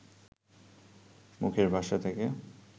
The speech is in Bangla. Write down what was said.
মুখের ভাষা থেকে